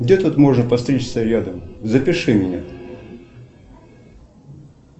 где тут можно постричься рядом запиши меня